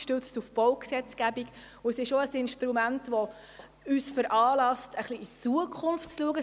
Der Bericht ist für uns auch ein Instrument, ein bisschen in die Zukunft zu schauen.